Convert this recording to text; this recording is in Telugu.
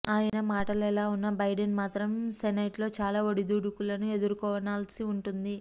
ఆయన మాటెలావున్నా బైడెన్ మాత్రం సెనేట్లో చాలా ఒడిదుడుకులను ఎదుర్కొనాల్సి వుంటుంది